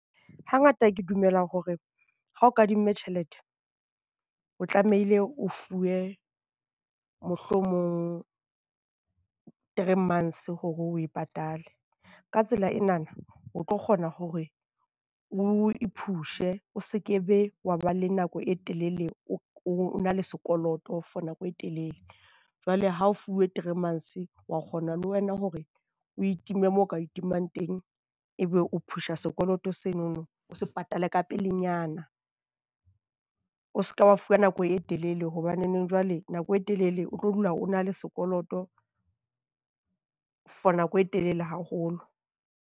Hangata ke dumela hore ha o kadimme tjhelete, o tlamehile o fuwe mohlomong three months hore oe patale, ka tsela ena o tlo kgona hore o i-pushe o se ke be wa ba le nako e telele o na le sekoloto for nako e telele. Jwale ha fuwe three months wa kgona le wena hore o itime mo o ka itimang teng, e be o pusha sekoloto seno o se patale ka pelenyana. O se ka ba fuwa nako e telele hobane jwale nako e telele o tlo dula o na le sekoloto for nako e telele haholo.